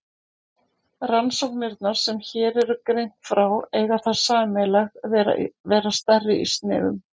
Rannsóknirnar sem hér er greint frá eiga það sameiginlegt að vera stærri í sniðum.